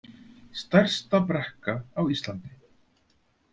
Stærsta brekka á Íslandi